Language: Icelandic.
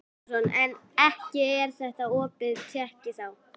Telma Tómasson: En ekki er þetta opin tékki þá?